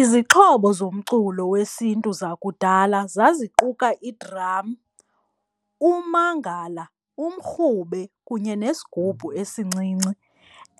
Izixhobo zomculo wesiNtu zakudala zaziquka i-drum, ummangala, umrhube kunye nesigubhu esincinci.